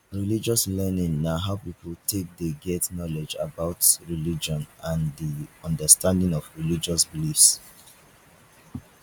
religious learning na how pipo take dey get knowlege about religion and di understanding of religious beliefs